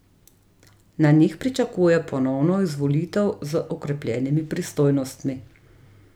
Na njih pričakuje ponovno izvolitev z okrepljenimi pristojnostmi.